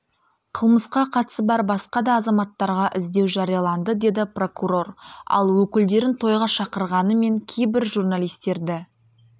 қылмысқа қатысы бар басқа да азаматтарға іздеу жарияланды деді прокурор ал өкілдерін тойға шақырғанымен кейбір журналистерді